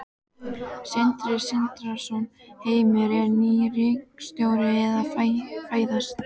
Sindri Sindrason: Heimir, er ný ríkisstjórn að fæðast?